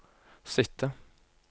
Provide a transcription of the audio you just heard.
sitte